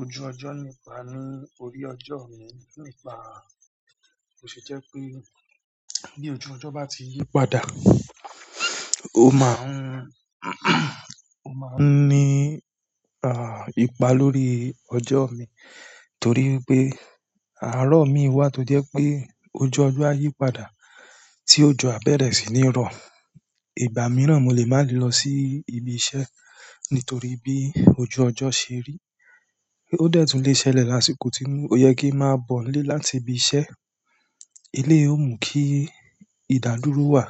Ojú ọjọ́ nípa ní orí ọjọ́ mi, nípa ó ṣe jẹ́ pé bí ojú ọjọ́ bá ti yí padà, ó máa ń, ó máa ń ní à, ipa lórí ọjọ́ mi, torí wipé àárọ̀ mi wà tó jẹ́ pé ojú ọjọ́ á yí padà tí òjò á bẹ̀rẹ̀ sí ní rọ. Ìgbà mìíràn mo lè má lè lọ sí ibi iṣẹ́ nítorí bí ojú ọjọ́ ṣe rí. Ó dẹ́ tùn lè ṣẹlẹ̀ lásìkò tí ó yẹ kí máa bọ̀ nilé láti ibi iṣẹ́. Eleyi yoó mú kí ìdádúró wà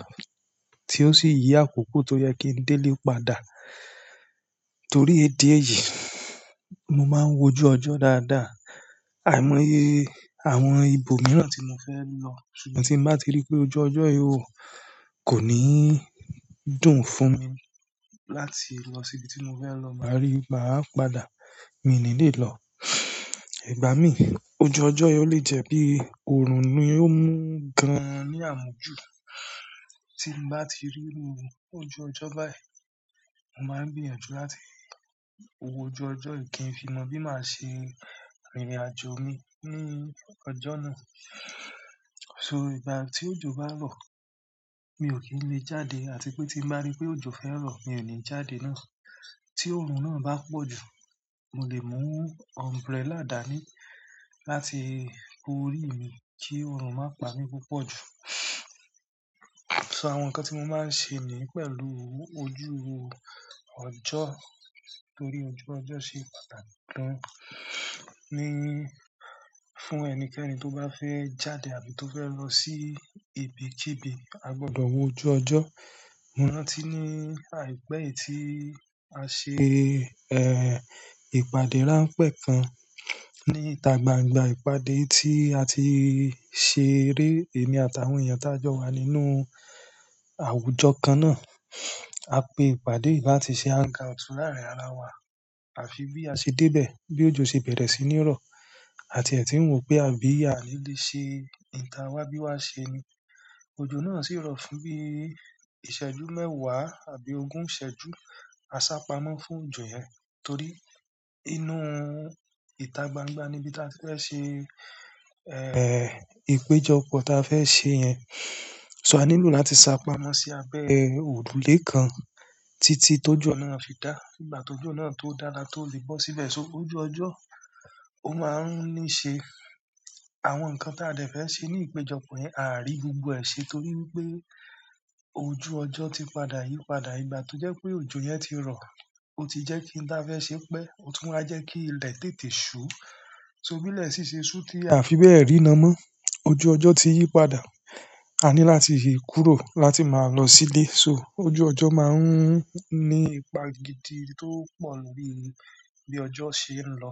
tí ó sì yí àkoko tó yẹ kí n dé lé padà. Torí idi èyí, mo máa ń wojú ọjọ́ dáadáa. Àìmọye àwọn ibo mìíràn tí mo fẹ́ lọ, ṣùgbọ́n tí n bá ti rí pé ojú ọjọ́ yìí ò, kò ní dùn fún mi láti lọ sí ibi tí mo fẹ́ lọ, máa rí, máa padà, mi ní lè lọ. Ìgbà mí, ojú ọjọ́ yi o le jẹ́ bí òòrùn ni ò mú gan-an ní àmújù. Tí n bá ti rí iru ojú ọjọ́ báyìí, mo máa ń gbìyànjú láti wó ojú ọjọ́ yi kí n fi mọ bí màá ṣe rìn ìrìnàjò mi ní ọjọ́ náà. So igbati ojo ba n rọ mi o ki n le jáde atipe ti n ba ri pe ojo fẹ rọ mi o ni jáde náà tí òòrùn náà bá pọ̀ jù, mo lè mú umbrella dà ní láti bo orí mi kí òòrùn má pà mí púpọ̀ jù. So àwọn nǹkan tí mo máa ń ṣe ní pẹ̀lú ojú ọjọ́ torí ojú ọjọ́ ṣe pàtàkì gan-an, ní fún ẹnikẹ́ni tó bá fẹ́ jáde àbí tó fẹ́ lọ sí ibi kí ibi, a gbọdọ̀ wo ojú ọjọ́. Mo rántí ni aipẹ yi ti a ṣe ìpàdé ranpẹ kan ni ita gbangba ìpàdé tí a ti ṣeré èmi àtàwọn èèyàn tí a jọ wà nínú àwùjọ kan náà. A pe ìpàdé yìí láti ṣe hang out fún láàárín ara wa àfi bí a ṣe dé bẹ̀, bí òjò ṣe bẹ̀rẹ̀ sí ní rọ̀ àti ẹ́ ti ń wò pé àbí àní le ṣe èyí ta wá bí wá ṣe ni. Ojo náà sì rọ fún bí ìṣẹ́jú mẹ́wàá àbí ogún ìṣẹ́jú, a sá pamọ́ fún òjò yẹn torí inú ìta gbangba ni bí ta ti fẹ́ ṣe, eh, ìpéjọpọ̀ tí a fẹ́ ṣe yẹn. So a nílò láti sá pamọ́ sí abẹ́ òrùlé kan títí tójò náà fi dá. Nígbà tó ìjọ náà tó dá la tó lè bọ́ síbẹ̀. So ojú ọjọ́ ó máa ń ní ṣe àwọn nǹkan tí a dẹ̀ fẹ́ ṣe ní ìpéjọpọ̀ yẹn a à rí gbogbo ẹ́ ṣe torí wípé ojú ọjọ́ ti padà yípadà. Ìgbà tó jẹ́ pé òjò yẹn ti rọ, ó ti jẹ́ kí oun ta fẹ́ ṣe pẹ́, ó tún wa jẹ́ kí ilẹ̀ tètè ṣú. So bí ilẹ̀ sì ṣe ṣú tí a fi bẹ́ẹ̀ ríran mọ́. Ojú ọjọ́ ti yí padà. A ní láti yí kúrò láti máa lọ sílé. So ojú ọjọ́ máa ń ní ipa gidi tó pọ̀ níbí bí ọjọ́ ṣe ń lọ.